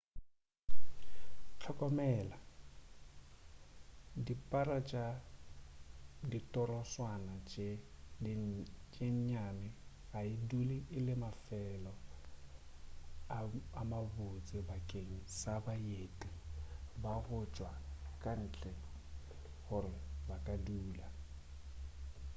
hlokomela dipara tša ditorotswana tše nnyane ga e dule e le mafelo a mabotse bakeng sa baeti ba go tšwa ka ntle gore ba ka dula